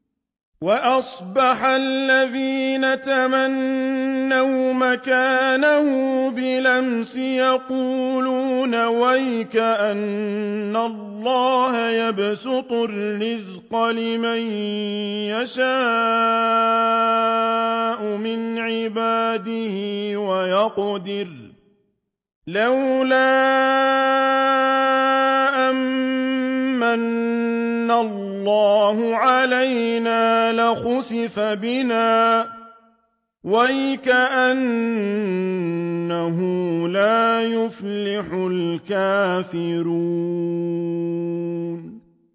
وَأَصْبَحَ الَّذِينَ تَمَنَّوْا مَكَانَهُ بِالْأَمْسِ يَقُولُونَ وَيْكَأَنَّ اللَّهَ يَبْسُطُ الرِّزْقَ لِمَن يَشَاءُ مِنْ عِبَادِهِ وَيَقْدِرُ ۖ لَوْلَا أَن مَّنَّ اللَّهُ عَلَيْنَا لَخَسَفَ بِنَا ۖ وَيْكَأَنَّهُ لَا يُفْلِحُ الْكَافِرُونَ